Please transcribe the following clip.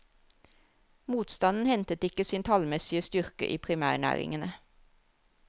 Motstanden hentet ikke sin tallmessige styrke i primærnæringene.